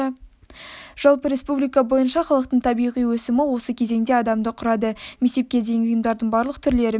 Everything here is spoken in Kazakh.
жалпы республика бойынша халықтың табиғи өсімі осы кезеңде адамды құрады мектепке дейінгі ұйымдардың барлық түрлері мен